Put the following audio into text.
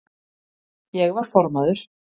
Ég var formaður